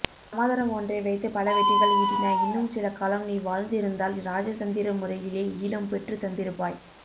சமாதனம் ஒன்றை வைத்து பலவெற்றிகள் ஈட்டினாய் இன்னும் சில காலம் நீ வாழ்ந்திருந்தால் இராஜதந்திர முறையிலே ஈழம் பெற்று தந்திருப்பாய்